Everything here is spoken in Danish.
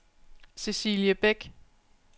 Cecilie Bech